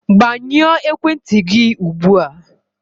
Gbanyụọ ekwentị gị ugbu a!